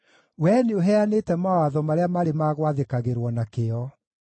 Wee nĩũheanĩte mawatho marĩa marĩ ma gwathĩkagĩrwo na kĩyo.